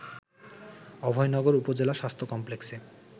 অভয়নগর উপজেলা স্বাস্থ্য কমপ্লেক্সে